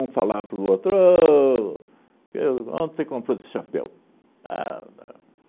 Um falava para o outro ô, eu onde você comprou esse chapéu? Ah ah